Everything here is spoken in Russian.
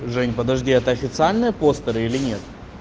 женя подожди это официальные постеры или нет